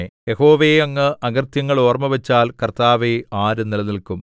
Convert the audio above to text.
യഹോവേ അങ്ങ് അകൃത്യങ്ങൾ ഓർമ്മവച്ചാൽ കർത്താവേ ആര് നിലനില്ക്കും